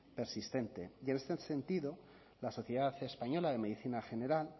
persistente y en este sentido la sociedad española de medicina general